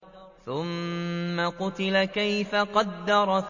ثُمَّ قُتِلَ كَيْفَ قَدَّرَ